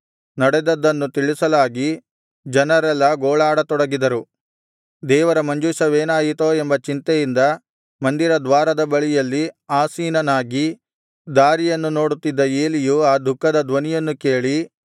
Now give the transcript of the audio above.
ನಡೆದದ್ದನ್ನು ತಿಳಿಸಲಾಗಿ ಜನರೆಲ್ಲಾ ಗೋಳಾಡತೊಡಗಿದರು ದೇವರ ಮಂಜೂಷವೇನಾಯಿತೋ ಎಂಬ ಚಿಂತೆಯಿಂದ ಮಂದಿರದ್ವಾರದ ಬಳಿಯಲ್ಲಿ ಆಸೀನನಾಗಿ ದಾರಿಯನ್ನು ನೋಡುತ್ತಿದ್ದ ಏಲಿಯು ಆ ದುಃಖದ ಧ್ವನಿಯನ್ನು ಕೇಳಿ